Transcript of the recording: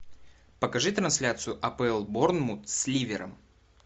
покажи трансляцию апл борнмут с ливером